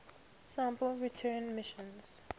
sample return missions